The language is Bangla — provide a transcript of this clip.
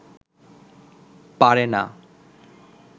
পারে না